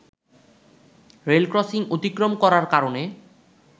rail crossing অতিক্রম করার কারণে